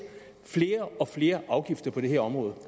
flere og flere afgifter på det her område